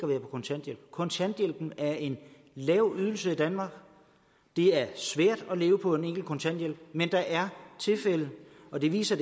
være på kontanthjælp kontanthjælpen er en lav ydelse i danmark det er svært at leve for en enkelt kontanthjælp men der er tilfælde og det viser